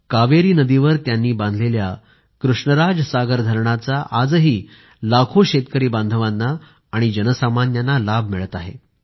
कावेरी नदीवर त्यांनी बांधलेल्या कृष्णराज सागर धरणाचा आजही लाखो शेतकरी बांधवांना आणि जनसामान्यांना लाभ मिळत आहे